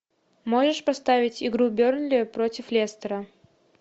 можешь поставить игру бернли против лестера